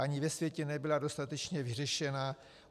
Ani ve světě nebyla dostatečně vyřešena.